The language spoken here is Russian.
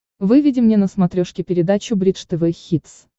выведи мне на смотрешке передачу бридж тв хитс